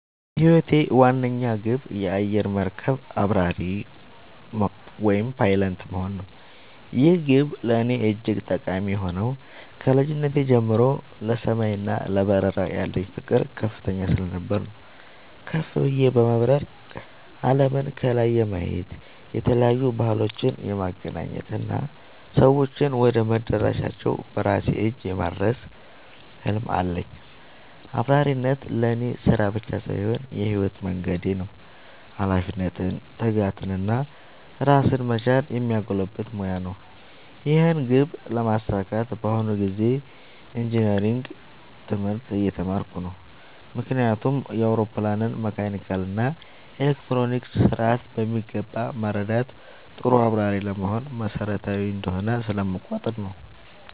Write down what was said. የህይወቴ ዋነኛ ግብ የአየር መርከብ አብራሪ (Pilot) መሆን ነው። ይህ ግብ ለእኔ እጅግ ጠቃሚ የሆነው ከልጅነቴ ጀምሮ ለሰማይ እና ለበረራ ያለኝ ፍቅር ከፍተኛ ስለነበር ነው። ከፍ ብዬ በመብረር አለምን ከላይ የማየት፣ የተለያዩ ባህሎችን የማገናኘት እና ሰዎችን ወደ መዳረሻቸው በራሴ እጅ የማድረስ ህልም አለኝ። አብራሪነት ለእኔ ስራ ብቻ ሳይሆን የህይወት መንገዴ ነው - ኃላፊነትን፣ ትጋትን እና ራስን መቻልን የሚያጎለብት ሙያ ነው። ይህን ግብ ለማሳካት በአሁኑ ጊዜ ኢንጂነሪንግ (Engineering) ትምህርት እየተማርኩ ነው። ምክንያቱም የአውሮፕላንን መካኒካል እና ኤሌክትሮኒክስ ስርዓት በሚገባ መረዳት ጥሩ አብራሪ ለመሆን መሰረታዊ እንደሆነ ስለምቆጠር ነው።